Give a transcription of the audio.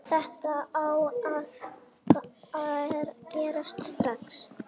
Þetta á að gerast strax.